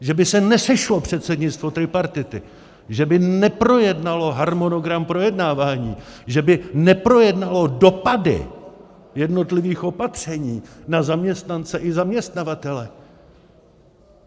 Že by se nesešlo předsednictvo tripartity, že by neprojednalo harmonogram projednávání, že by neprojednalo dopady jednotlivých opatření na zaměstnance i zaměstnavatele.